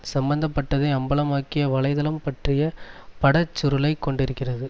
சம்பந்த பட்டதை அம்பலமாக்கிய வலைதளம் பற்றிய படச் சுருளைக் கொண்டிருக்கிறது